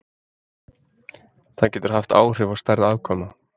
það getur haft áhrif á stærð afkvæma